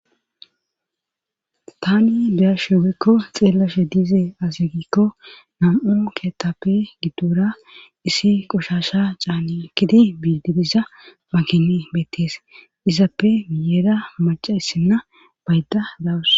Tani beyashuugekko xeellashe diize azyegikko nam7u kettappe giddora issi qushasha caane akkidi biididiza makine beettees izappe miyeera maca issinna baydda dawus